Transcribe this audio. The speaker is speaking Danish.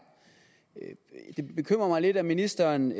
det bekymrer mig lidt at ministeren